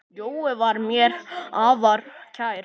Jói var mér afar kær.